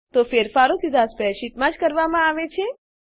તો ફેરફારો સીધાં સ્પ્રેડશીટમાં જ કરવામાં આવે છે